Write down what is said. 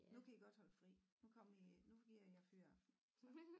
Nu kan i godt holde fri nu kommer i nu giver jeg jer fyraften så